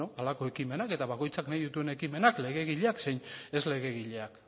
halako ekimenak eta bakoitzak nahi dituen ekimenak legegileak zein ez legegileak